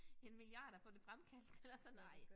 En milliard at få det fremkaldt eller sådan noget